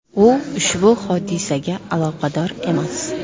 U ushbu hodisaga aloqador emas.